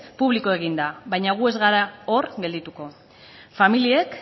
publiko egin da baina gu ez gara hor geldituko familiek